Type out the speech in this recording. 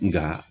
Nka